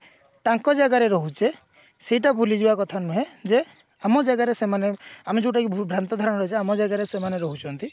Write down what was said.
ତାଙ୍କ ଜାଗାରେ ରହୁଛେ ସେଇଟା ଭୁଲି ଯିବା କଥା ନୁହେଁ ଯେ ଆମ ଜାଗାରେ ସେମାନେ ଆମେ ଯୋଉଟା କି ଭୁଲ ଭ୍ରାନ୍ତ ଧାରଣା ଯେ ଆମ ଜାଗାରେ ସେମାନେ ରହୁଛନ୍ତି